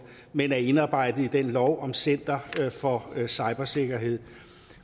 men er indarbejdet i loven om center for cybersikkerhed